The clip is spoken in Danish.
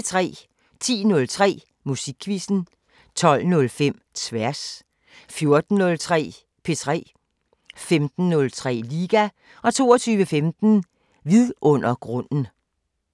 10:03: Musikquizzen 12:05: Tværs 14:03: P3 15:03: Liga 22:15: Vidundergrunden